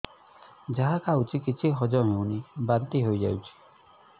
ଯାହା ଖାଉଛି କିଛି ହଜମ ହେଉନି ବାନ୍ତି ହୋଇଯାଉଛି